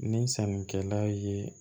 Ni sannikɛla ye